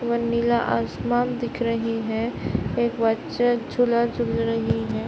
वह नीला आसमान दिख रही हैं एक बच्चा झूला-झूल रहीं हैं।